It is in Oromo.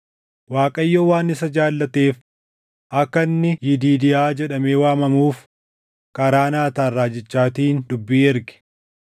Waaqayyo waan isa jaallateef akka inni Yidiidiyaa jedhamee waamamuuf karaa Naataan raajichaatiin dubbii erge.